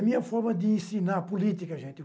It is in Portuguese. A minha forma de ensinar a política, gente.